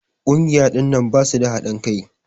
Kungiya ɗinnan basu da hadin Kai.